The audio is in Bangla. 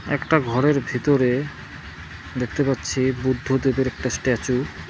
একটা ঘরের ভিতরে দেখতে পাচ্ছি বুদ্ধদেবের একটা স্ট্যাচু ।